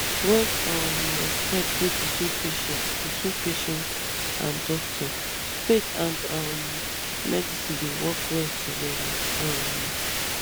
when um respect dey between patient between patient and doctor faith and um medicine dey work well together um